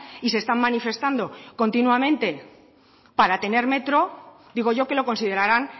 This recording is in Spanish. y se están manifestando continuamente para tener metro digo yo que lo considerarán